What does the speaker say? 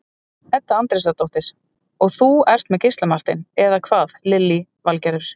Edda Andrésdóttir: Og þú ert með Gísla Martein, eða hvað Lillý Valgerður?